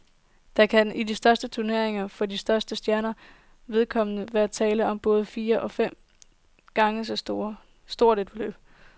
Der kan i de største turneringer for de største stjerners vedkommende være tale om både fire og fem gange så stort et beløb.